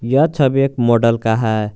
यह छवि एक मॉडल का है।